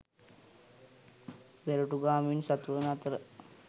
පෙරටුගාමින් සතුවන අතර